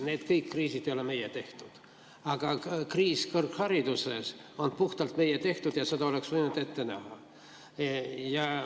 Need kõik kriisid ei ole meie tehtud, aga kriis kõrghariduses on puhtalt meie tehtud ja seda oleks võinud ette näha.